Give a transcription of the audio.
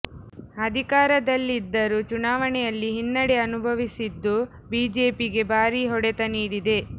ಅಧಿಕಾರದಲ್ಲಿ ಇದ್ದರೂ ಚುನಾವಣೆಯಲ್ಲಿ ಹಿನ್ನಡೆ ಅನುಭವಿಸಿದ್ದು ಬಿಜೆಪಿಗೆ ಭಾರೀ ಹೊಡೆತ ನೀಡಿದೆ